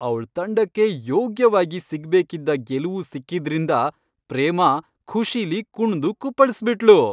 ಅವ್ಳ್ ತಂಡಕ್ಕೆ ಯೋಗ್ಯವಾಗಿ ಸಿಗ್ಬೇಕಿದ್ದ ಗೆಲುವು ಸಿಕ್ಕಿದ್ರಿಂದ ಪ್ರೇಮಾ ಖುಷಿಲಿ ಕುಣ್ದು ಕುಪ್ಪಳ್ಸ್ಬಿಟ್ಳು.